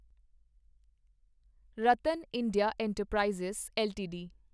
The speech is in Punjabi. Ratan India enterprises LTD